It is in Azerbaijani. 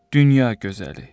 Dünya gözəli.